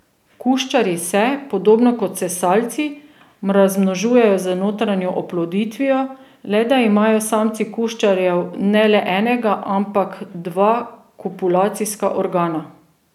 Kuščarji se, podobno kot sesalci, razmnožujejo z notranjo oploditvijo, le da imajo samci kuščarjev ne le enega, ampak dva kopulacijska organa.